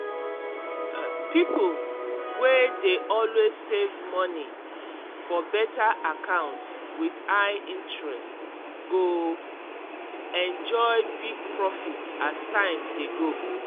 um pipo wey dey always save money for better accounts with high interest go enjoy big profit as time dey go.